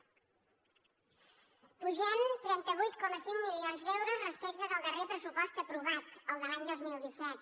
pugem trenta vuit coma cinc milions d’euros respecte del darrer pressupost aprovat el de l’any dos mil disset